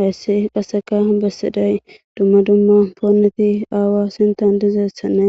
Hayssi qasseka bessiday dumma dumma pooneti aawa sintan dizeessanne